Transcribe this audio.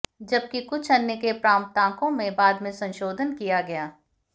जबकि कुछ अन्य के प्राप्तांकों में बाद में संशोधन किया गया